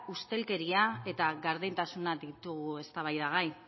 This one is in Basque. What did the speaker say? ustelkeria eta gardentasuna ditugu eztabaidagai